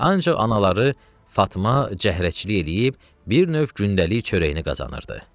Ancaq anaları Fatma cəhrəçilik eləyib, bir növ gündəlik çörəyini qazanırdı.